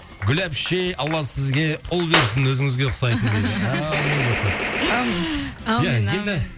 гүл әпше алла сізге ұл берсін өзіңізге ұқсайтын әумин деп қойыпты әумин әумин әумин